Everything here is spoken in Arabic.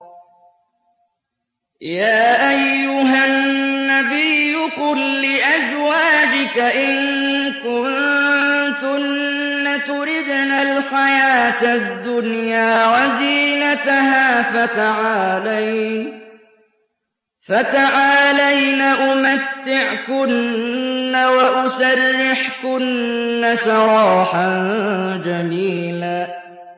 يَا أَيُّهَا النَّبِيُّ قُل لِّأَزْوَاجِكَ إِن كُنتُنَّ تُرِدْنَ الْحَيَاةَ الدُّنْيَا وَزِينَتَهَا فَتَعَالَيْنَ أُمَتِّعْكُنَّ وَأُسَرِّحْكُنَّ سَرَاحًا جَمِيلًا